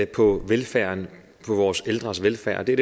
på velfærden på vores ældres velfærd det er